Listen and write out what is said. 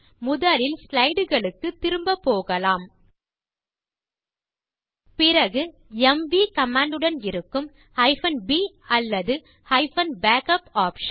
முதலில் ஸ்லைடு களுக்குத் திரும்ப போகலாம் பிறகு எம்வி கமாண்ட் உடன் இருக்கும் b அல்லது -backup ஆப்ஷன்